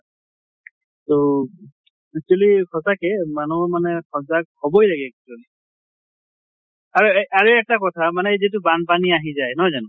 তʼ actually সঁচাকে মানুহ মানে সজাগ হʼবই লাগে actually আৰু এ আৰু এক টা কথা তাৰ মানে যিটো বান্পানী আহি যায়, নহয় জানো?